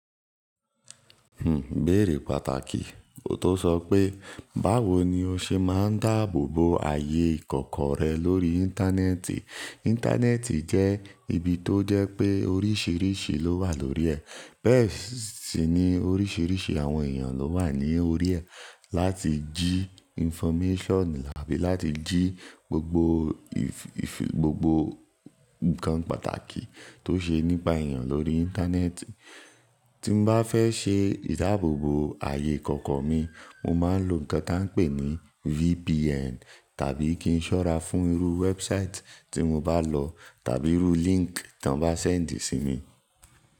Ibéèrè pàtàkì. Ó tó sọ pé, báwo ni o ṣe máa ń dáàbò bo ààyè ìkọ̀kọ̀ rẹ lórí Íńtánẹ́ẹ̀tì? Íńtánẹ́ẹ̀tì jẹ́ ibi tó jẹ́ pé oríṣiríṣi ló wà lórí ẹ̀. Bẹ́ẹ̀ sì ni oríṣiríṣi àwọn èèyàn ló wà ní orí ẹ̀, láti jí information abi láti jí gbogbo ìfì gbogbo nǹkan pàtàkì tó ṣe nípa èèyàn lórí Íńtánẹ́ẹ̀tì. Tí n bá fẹ́ ṣe ìdáàbò bo ààyè ìkọ̀kọ̀ mi, mo máa ń lo nǹkan tí wọ́n ń pè ní VPN tàbí kí n ṣọ́ra fún irú wẹ́ẹ́búsáìtì tí mo bá lọ tàbí irú líńkì tí wọ́n bá ṣẹ̀díì sí mi.